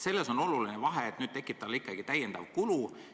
Selles on oluline vahe ka selles mõttes, et nüüd tekib omanikule täiendav kulu.